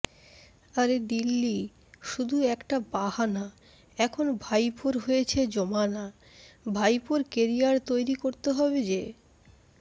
আরে দিল্লি শুধু একটা বাহানা এখন ভাইপোর হয়েছে জমানা ভাইপোর কেরিয়ার তৈরি করতে হবে যে